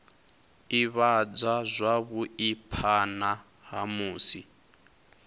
ivhadzwa zwavhui phana ha musi